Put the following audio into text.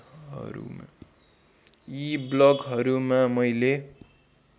यी ब्लगहरूमा मैले